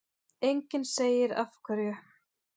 Enginn segir af hverju.